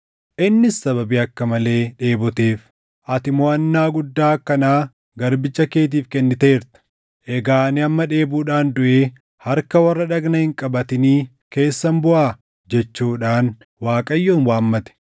Innis sababii akka malee dheeboteef, “Ati moʼannaa guddaa akkanaa garbicha keetiif kenniteerta. Egaa ani amma dheebuudhaan duʼee harka warra dhagna hin qabatinii keessan buʼaa?” jechuudhaan Waaqayyoon waammate.